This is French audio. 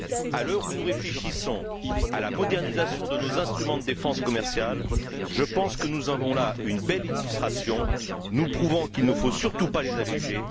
À l'heure où nous réfléchissons à la modernisation de nos instruments de défense commerciale, je pense que nous avons là une belle illustration nous prouvant qu'il ne faut surtout pas les alléger.